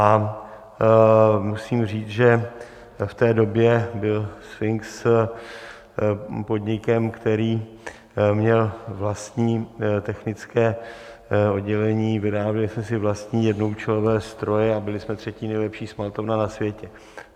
A musím říct, že v té době byl Sfinx podnikem, který měl vlastní technické oddělení, vyráběli jsme si vlastní jednoúčelové stroje a byli jsme třetí nejlepší smaltovna na světě.